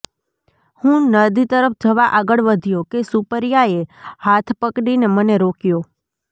હું નદી તરફ જવા આગળ વધ્યો કે સુપરિયાએ હાથ પકડીને મને રોક્યો